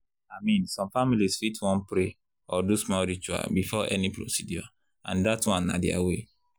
i mean some families fit wan pray or do small ritual before any procedure and that one na their way.